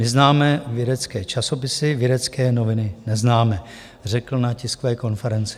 My známe vědecké časopisy, vědecké noviny neznáme, řekl na tiskové konferenci.